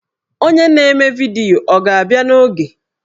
Onye na-eme vidiyo ọ ga-abịa n'oge?